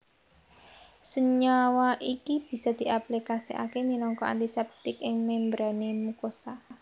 Senyawa iki bisa diaplikasekake minangka antiseptik ing membrane mukosa